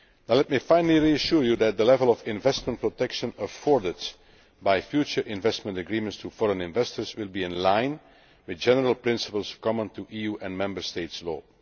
Let me, finally, reassure you that the level of investment protection afforded by future investment agreements to foreign investors will be in line with general principles common to EU and Member State law.